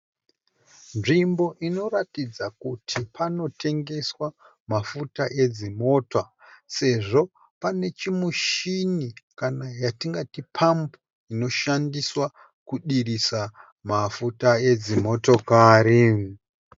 Nzvimbo inoratidza kuti panotengeswa mafuta edzimota sezvo pane chimushini kana yatingati pambu inoshandiswa kudirisa mafuta edzimotokari.